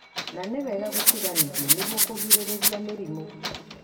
na nĩ wega gũtiganithio nĩguo kũgirĩrĩria mĩrimũ.